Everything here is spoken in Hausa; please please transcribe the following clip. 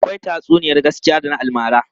Akwai tatsuniyar gaskiya da na almara.